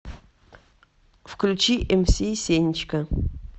включи мс сенечка